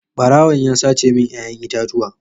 Barawon ya sace min 'ya'yan itatuwa.